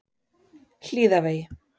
Hlíðavegi